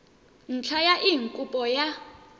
ntlha ya eng kopo ya